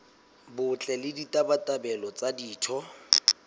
botle le ditabatabelo tsa ditho